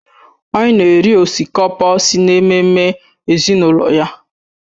Anyị na-eri osikapa si na ememme ezinụlọ ya